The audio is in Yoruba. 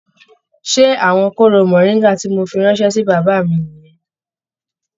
Ṣé àwọn kooro moringa tí mó fí ránṣẹ sí bàbá mí nìyẹn?